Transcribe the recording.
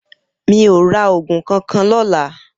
Mi ó rà ógún kànkàn lòlã